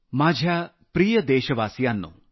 माझ्या प्रिय देशवासियांनो